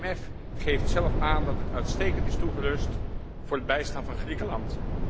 Het IMF geeft zelf aan dat het uitstekend is toegerust voor het bijstaan van Griekenland.